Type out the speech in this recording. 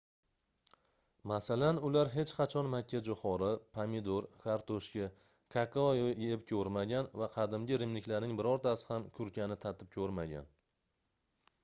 masalan ular hech qachon makkajoʻxori pomidor kartoshka kakao yeb koʻrmagan va qadimgi rimliklarning birortasi ham kurkani tatib koʻrmagan